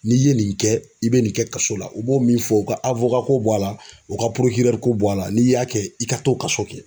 N'i ye nin kɛ i be nin kɛ kaso la u b'o min fɔ u ka awokako bɔ a la u ka porokirɛriko bɔ a la n'i y'a kɛ i ka t'o kaso kɛ